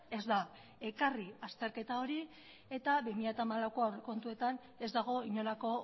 ez da ekarri azterketa hori eta bi mila hamalauko aurrekontuetan ez dago inolako